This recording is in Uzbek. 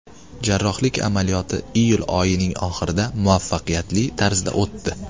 Jarrohlik amaliyoti iyul oyining oxirida muvaffaqiyatli tarzda o‘tdi.